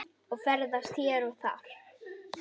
og ferðast hér og þar.